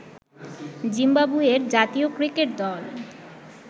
জিম্বাবুয়ের জাতীয় ক্রিকেট দল